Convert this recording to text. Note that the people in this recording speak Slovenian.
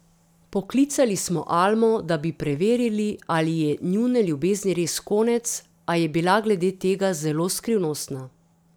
Poklicali smo Almo, da bi preverili, ali je njune ljubezni res konec, a je bila glede tega zelo skrivnostna.